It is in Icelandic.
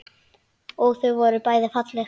Og þau voru bæði falleg.